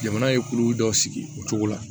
Jamana ye kulu dɔ sigi o cogo la